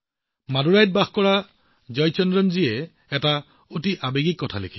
মাদুৰাইত বাস কৰা জয়চন্দ্ৰন জীয়ে কিবা এটা অতি ডাঙৰ কথা লিখিছে